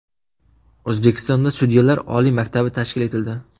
O‘zbekistonda sudyalar oliy maktabi tashkil etildi.